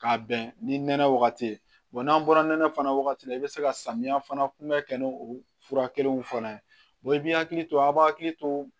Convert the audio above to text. K'a bɛn ni nɛnɛ wagati ye n'an bɔra nɛnɛ fana wagati la i bɛ se ka samiya fana kunbɛ kɛ n'o fura kelenw fɔra ye i b'i hakili to a b'a hakili to